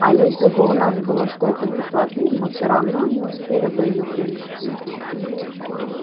а если бы у нас было столько кислоты мы всё равно не успели бы её привезти